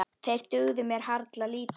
Þeir dugðu mér harla lítið.